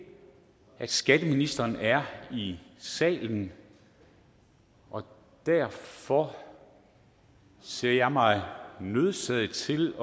at skatteministeren er i salen og derfor ser jeg mig nødsaget til